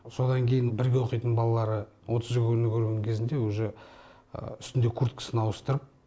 содан кейін бірге оқитын балалары отызы күні көрген кезінде уже үстінде курткасын ауыстырып